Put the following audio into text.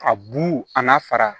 A bu a n'a fara